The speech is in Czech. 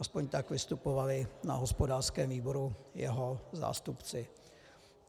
Alespoň tak vystupovali na hospodářském výboru jeho zástupci.